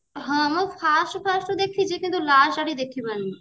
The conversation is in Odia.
ହଁ ମ first first ରୁ ଦେଖିଛି କିନ୍ତୁ last ଆଡକୁ ଦେଖି ପାରିନି